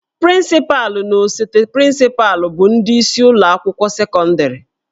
Prịncịpalụ na osote prịncịpalụ bụ ndị isi ụlọ akwụkwọ sekọndịrị